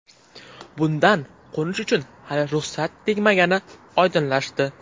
Bundan qo‘nish uchun hali ruxsat tegmagani oydinlashdi.